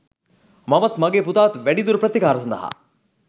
මමත් මගේ පුතාත් වැඩිදුර ප්‍රතිකාර සඳහා